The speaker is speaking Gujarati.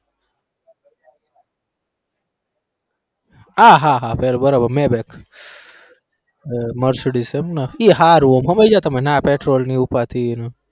આહ હા હા બરોબર mercedes એમ ને ઈ હારું એમ ને ઈ હારું ના પેટ્રોલની ઉપાદી.